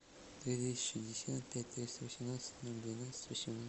двести шестьдесят пять триста восемнадцать ноль двенадцать